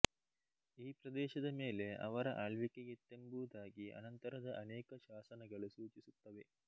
ಈ ಪ್ರದೇಶದ ಮೇಲೆ ಅವರ ಆಳ್ವಿಕೆಯಿತ್ತೆಂಬುದಾಗಿ ಅನಂತರದ ಅನೇಕ ಶಾಸನಗಳು ಸೂಚಿಸುತ್ತವೆ